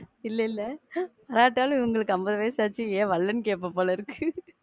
இல்ல இல்ல வராட்டாலும் இவங்களுக்கு அம்பது வயசாயிச்சி, ஏன் வரலன்னு கேப்ப போலிருக்கு.